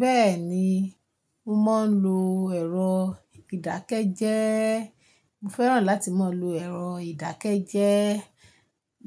Bẹ́ẹ̀ni, mo máa ń lo èrò ìdákẹ́jẹ́ẹ́. Mo fẹ́ràn láti máa lo èrò ìdákẹ́jẹ́ẹ́